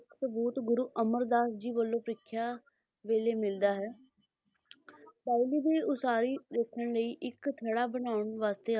ਗੁਰੂ ਅਮਰਦਾਸ ਜੀ ਵੱਲੋਂ ਪ੍ਰੀਖਿਆ ਵੇਲੇ ਮਿਲਦਾ ਹੀ ਬਾਉਲੀ ਦੀ ਉਸਾਰੀ ਦੇਖਣ ਲਈ ਇੱਕ ਥੜ੍ਹਾ ਬਣਾਉਣ ਵਾਸਤੇ ਆਖਿਆ